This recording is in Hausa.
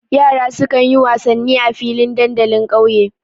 Yara sukan yi wasanni a filin dandalin ƙauye.